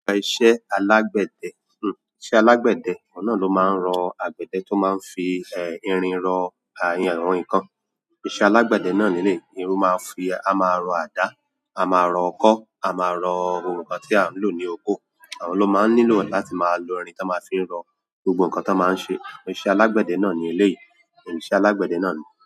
Iṣẹ́ alágbẹ̀dẹ, iṣẹ́ alágbẹ̀dẹ, òun náà ló máa ń rọ agbẹ̀dẹ́ tó máa ń fi irin rọ ìyẹn àwọn nǹkan. Iṣẹ́ alágbẹ̀dẹ́ náà leléyìí, irú máa ń fi, áá máa rọ àdá, áá máa rọ ọkọ́, áá máa rọ ohun kan tí a ń lò ní oko. Àwọn ló máa ń nílò láti lo irin t'ọ́n máa fi ń rọ gbogbo nǹkan t'ọ́n máa ń ṣe. Iṣẹ́ alágbẹ̀dẹ́ náà ni eléyìí. Iṣẹ́ alágbẹ̀dẹ́ náà ní.